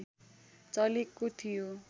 चलेको थियो